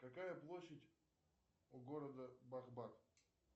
какая площадь у города бахбад